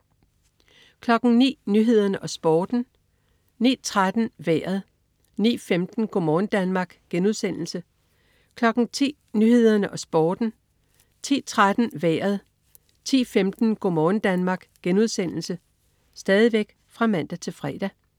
09.00 Nyhederne og Sporten (man-fre) 09.13 Vejret (man-fre) 09.15 Go' morgen Danmark* (man-fre) 10.00 Nyhederne og Sporten (man-fre) 10.13 Vejret (man-fre) 10.15 Go' morgen Danmark* (man-fre)